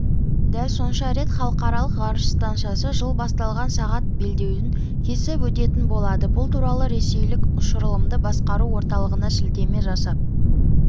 дәл сонша рет халықаралық ғарыш стансасы жыл басталған сағат белдеуін кесіп өтетін болады бұл туралы ресейлік ұшырылымды басқару орталығына сілтеме жасап